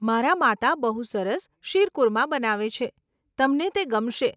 મારા માતા બહુ સરસ શીરકુરમા બનાવે છે, તમને તે ગમશે.